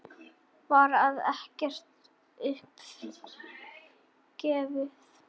Hér er ekkert upp gefið.